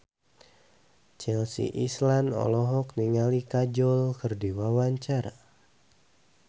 Chelsea Islan olohok ningali Kajol keur diwawancara